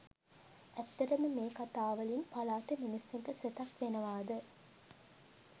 ඇත්තටම මේ කතා වලින් පළාතෙ මිනිස්සුන්ට සෙතක් වෙනවද?